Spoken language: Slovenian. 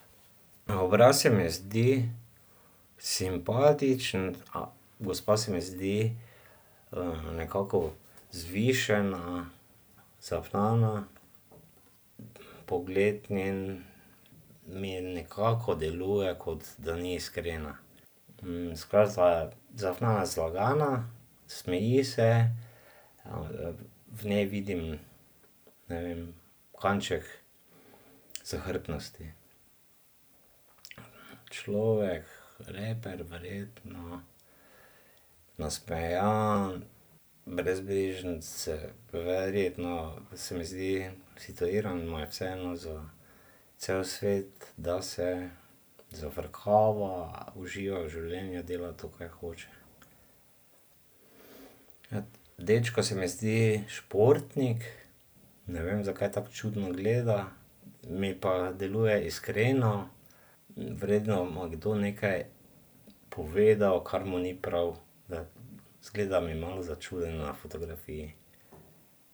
Obraz se mi zdi simpatičen. Gospa se mi zdi, nekako vzvišena, zafnana. Pogled njen mi nekako deluje, kot da ni iskrena. zafnana, zlagana, smeji se, v njej vidim, ne vem, kanček zahrbtnosti. Človek, raper, verjetno, nasmejan, brezbrižen. Se verjetno, se mi zdi, situiran, mu je vseeno za cel svet, da se zafrkava, uživa v življenju, dela to, kaj hoče. dečko se mi zdi športnik. Ne vem, zakaj tako čudno gleda. Mi pa deluje iskreno. Verjetno mu je kdo nekaj povedal, kar mu ni prav, ne. Izgleda mi malo začuden na fotografiji.